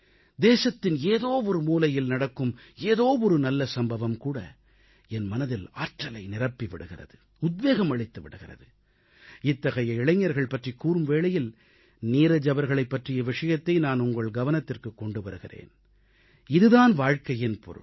தேசத்தின் ஏதோவொரு மூலையில் நடக்கும் ஏதோ ஒரு நல்ல சம்பவமும் என் மனதில் ஆற்றலை நிரப்பி விடுகிறது உத்வேகம் அளித்து விடுகிறது இத்தகைய இளைஞர்கள் பற்றிக் கூறும் வேளையில் நீரஜ் அவர்களைப் பற்றிய விஷயத்தை நான் உங்கள் கவனத்திற்குக் கொண்டு வருகிறேன் இது தான் வாழ்க்கையின் பொருள்